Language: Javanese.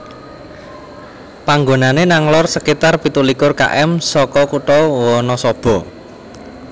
Panggonane nang lor sekitar pitu likur km saka kutha Wanasaba